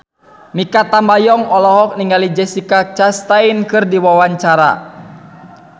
Mikha Tambayong olohok ningali Jessica Chastain keur diwawancara